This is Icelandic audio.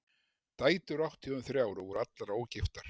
Dætur átti hún þrjár og voru allar ógiftar.